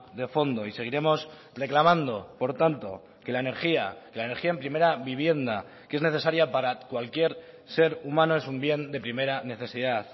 de fondo y seguiremos reclamando por tanto que la energía la energía en primera vivienda que es necesaria para cualquier ser humano es un bien de primera necesidad